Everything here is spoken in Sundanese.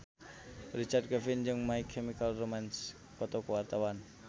Richard Kevin jeung My Chemical Romance keur dipoto ku wartawan